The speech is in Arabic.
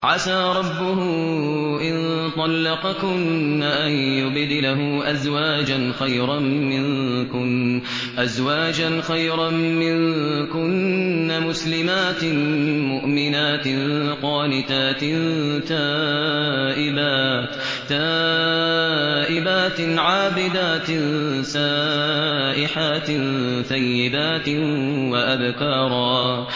عَسَىٰ رَبُّهُ إِن طَلَّقَكُنَّ أَن يُبْدِلَهُ أَزْوَاجًا خَيْرًا مِّنكُنَّ مُسْلِمَاتٍ مُّؤْمِنَاتٍ قَانِتَاتٍ تَائِبَاتٍ عَابِدَاتٍ سَائِحَاتٍ ثَيِّبَاتٍ وَأَبْكَارًا